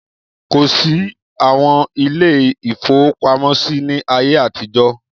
Kò sí àwọn ilé-ìfowópamọ́sí ní ayé àtijọ́.